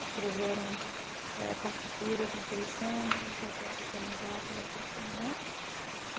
Escreveram eh partituras interessantes, até pequenas óperas e tudo mais.